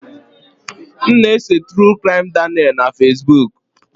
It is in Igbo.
M na-eso True Crime Daniel na Fesbuk